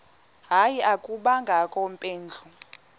hayi akubangakho mpendulo